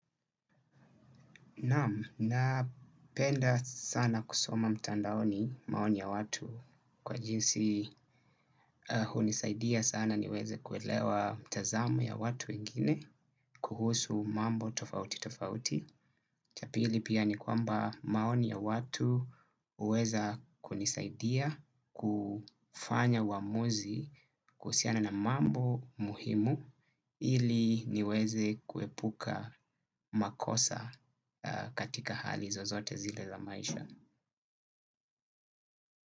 Naam napenda sana kusoma mtandaoni maoni ya watu kwa jinsi hunisaidia sana niweze kuelewa mtazamo ya watu wengine kuhusu mambo tofauti tofauti. Cha pili pia ni kwamba maoni ya watu huweza kunisaidia kufanya waamuzi kuhusiana na mambo muhimu ili niweze kuepuka makosa katika hali zozote zile za maisha.